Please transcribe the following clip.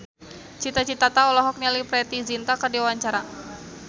Cita Citata olohok ningali Preity Zinta keur diwawancara